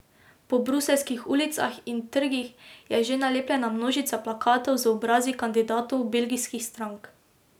Po bruseljskih ulicah in trgih je že nalepljena množica plakatov z obrazi kandidatov belgijskih strank.